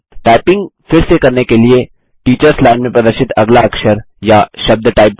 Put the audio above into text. typing फिर से करने के लिए टीचर्स लाइन में प्रदर्शित अगला अक्षर या शब्द टाइप करें